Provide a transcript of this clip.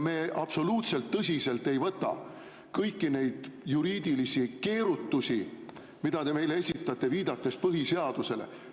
Me ei võta absoluutselt tõsiselt kõiki neid juriidilisi keerutusi, mida te meile esitate, viidates põhiseadusele.